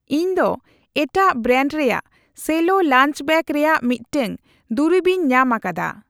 ᱤᱧ ᱫᱚ ᱮᱴᱟᱜ ᱵᱨᱮᱱᱰ ᱨᱮᱭᱟᱜ ᱥᱮᱞᱳ ᱞᱟᱧᱪ ᱵᱮᱜ ᱨᱮᱭᱟᱜ ᱢᱤᱫᱴᱟᱝ ᱫᱩᱨᱤᱵᱤᱧ ᱧᱟᱢ ᱟᱠᱟᱫᱟ ᱾